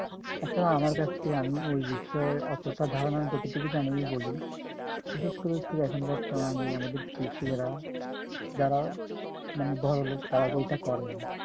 আসলে আমার কাছে আমি ঐ বিষয়ে অতোটা ধারণা যতোটুকু জানি আমি বলি বিশেষ করে হচ্ছে যে এখন বর্তমানে আমাদের কৃষকেরা যারা মানে বড়লোক তারা তো এইটা করে না